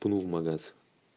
в магаз